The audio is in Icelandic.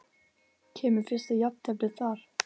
Kemur fyrsta jafnteflið þar?